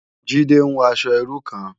Jide n wò aṣò irú kán